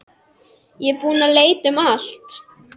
Ég er búinn að leita um allt.